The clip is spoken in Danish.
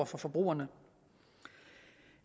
for forbrugerne